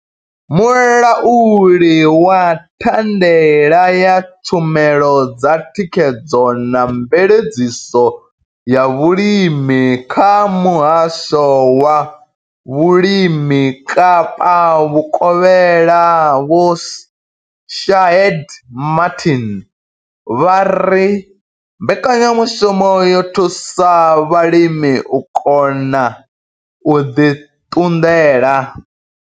Mulauli wa thandela ya tshumelo dza thikhedzo na mveledziso ya vhulimi kha Muhasho wa vhulimi Kapa vhukovhela Vho Shaheed Martin vha ri mbekanyamushumo yo thusa vhalimi u kona u ḓi ṱunḓela.